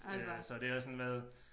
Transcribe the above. Øh så det har også sådan været